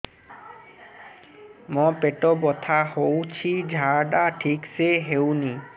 ମୋ ପେଟ ବଥା ହୋଉଛି ଝାଡା ଠିକ ସେ ହେଉନି